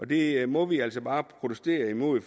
det må vi altså bare protestere imod